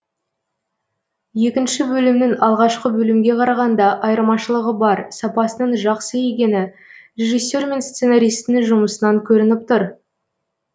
екінші бөлімнің алғашқы бөлімге қарағанда айырмашылығы бар сапасының жақсы екені режиссе р мен сценаристтің жұмысынан көрініп тұр